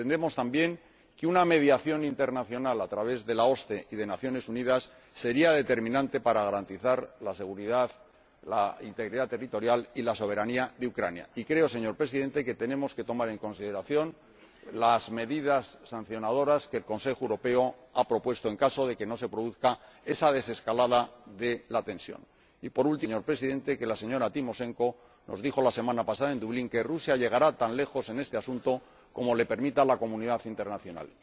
Entendemos también que una mediación internacional a través de la OSCE y de las Naciones Unidas sería determinante para garantizar la seguridad, la integridad territorial y la soberanía de Ucrania, y creo, señor Presidente, que tenemos que tomar en consideración las medidas sancionadoras que el Consejo Europeo ha propuesto en caso de que no se produzca esa desescalada de la tensión. Y, por último, quisiera recordar, señor Presidente, que la señora Timoshenko nos dijo la semana pasada en Dublín que Rusia llegará tan lejos en este asunto como se lo permita la comunidad internacional.